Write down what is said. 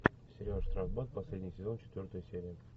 сериал штрафбат последний сезон четвертая серия